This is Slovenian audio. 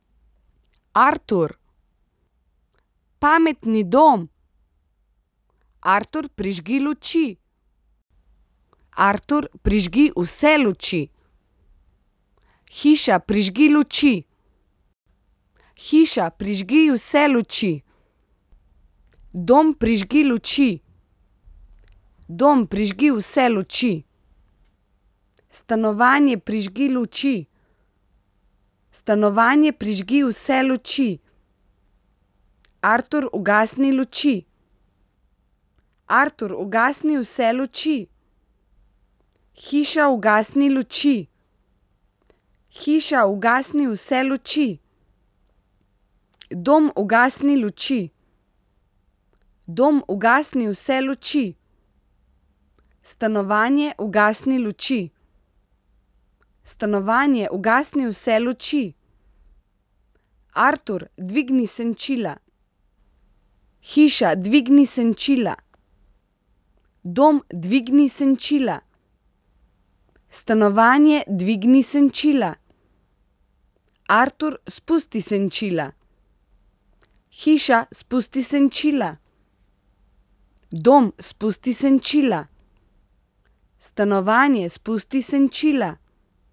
Artur. Pametni dom. Artur, prižgi luči. Artur, prižgi vse luči. Hiša, prižgi luči. Hiša, prižgi vse luči. Dom, prižgi luči. Dom, prižgi vse luči. Stanovanje, prižgi luči. Stanovanje, prižgi vse luči. Artur, ugasni luči. Artur, ugasni vse luči. Hiša, ugasni luči. Hiša, ugasni vse luči. Dom, ugasni luči. Dom, ugasni vse luči. Stanovanje, ugasni luči. Stanovanje, ugasni vse luči. Artur, dvigni senčila. Hiša, dvigni senčila. Dom, dvigni senčila. Stanovanje, dvigni senčila. Artur, spusti senčila. Hiša, spusti senčila. Dom, spusti senčila. Stanovanje, spusti senčila.